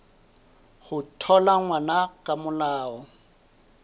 ho thola ngwana ka molao